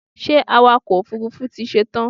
Ṣé awakọ̀ òfurufú ti ṣetán?